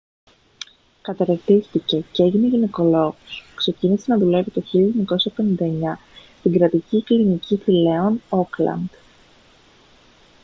καταρτίστηκε και έγινε γυναικολόγος ξεκίνησε να δουλεύει το 1959 στην κρατική κλινική θηλέων auckland